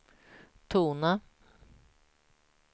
tona